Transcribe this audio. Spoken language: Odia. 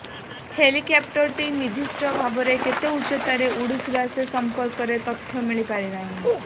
ହେଲିକପ୍ଟରଟି ନିର୍ଦ୍ଦିଷ୍ଟ ଭାବେ କେତେ ଉଚ୍ଚତାରେ ଉଡୁଥିଲା ସେ ସଂପର୍କରେ ତଥ୍ୟ ମିଳିପାରିନାହିଁ